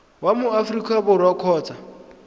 wa mo aforika borwa kgotsa